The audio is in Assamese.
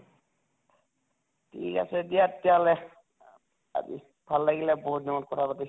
ঠিক আছে দিয়ে তেতিয়াহʼলে আজি ভাল লাগিলে বহুত দিনৰ মূৰত কথা পাতিছো